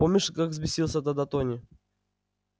помнишь как взбесился тогда тони